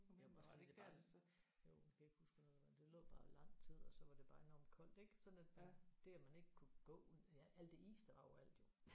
Jamen også fordi det bare er. Jo jeg kan ikke huske hvornår det var det lå bare i lang tid og så var det bare enormt koldt ik sådan at det at man ikke kunne gå ud ja alt det is der var overalt jo